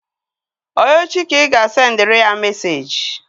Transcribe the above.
Ọ echi ka ị ga-asendịrị ya meseji?